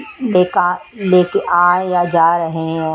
लेका लेके आ या जा रहे हैं।